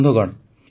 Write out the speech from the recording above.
ବନ୍ଧୁଗଣ